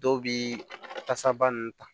Dɔw bi tasaba nunnu ta